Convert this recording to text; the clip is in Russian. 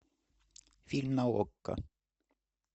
фильм на окко